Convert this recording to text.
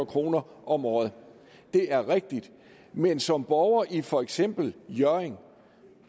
kroner om året det er rigtigt men som borgere i for eksempel hjørring